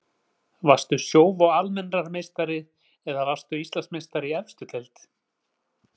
Varstu Sjóvá Almennrar meistari eða varðstu Íslandsmeistari í efstu deild?